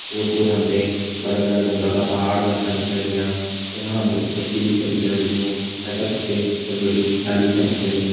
और पोर हम्थे बड़ा-बड़ा ढूँगा का पहाड़ जैसा दिख्याणा लाग्यां यख हम्थे कुछ कछील भी च दिख्येण लग्युं पैथर कुछ छोटी-छोटी डाली भी छिन दिख्येणी।